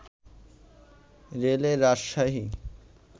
রেলে রাজশাহী